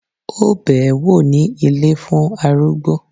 Ó bẹ́ẹ̀ wò ní ilé fún arúgbó